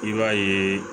I b'a yeee